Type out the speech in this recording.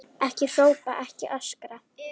Ekki hrópa, ekki öskra!